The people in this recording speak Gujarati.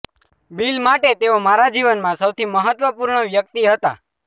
બિલ માટે તેઓ મારા જીવનમાં સૌથી મહત્વપૂર્ણ વ્યક્તિ હતા